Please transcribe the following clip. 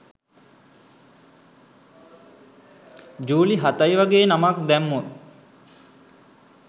ජූලි හතයි වගේ නමක් දැම්මොත්